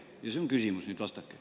Ja see on küsimus, nüüd vastake.